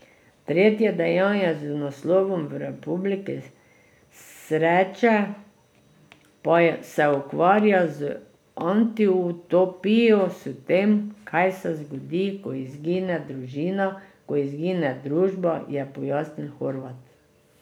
Tretje dejanje z naslovom V republiki sreče pa se ukvarja z antiutopijo, s tem, kaj se zgodi, ko izgine družina, ko izgine družba, je pojasnil Horvat.